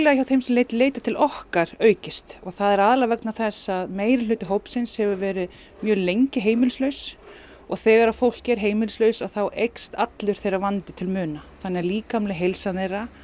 hjá þeim sem leita til okkar aukist og það er aðallega vegna þess að meirihluti hópsins hefur verið mjög lengi heimilislaus og þegar að fólk er heimilislaust þá eykst allur þeirra vandi til muna þannig að líkamleg heilsa þeirra